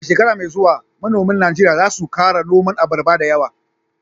A shekara mai zuwa manoman Najeriya za su kara noman abarba dayawa